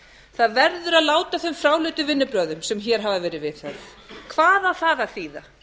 það verður að láta af þeim fráleitu vinnubrögðum sem hér hafa verið viðhöfð hvað á það að þýða